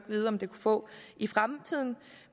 vide om det kunne få i fremtiden